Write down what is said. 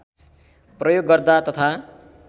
प्रयोग गर्दा तथा